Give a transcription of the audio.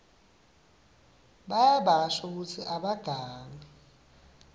bayabasho kutsi abagangi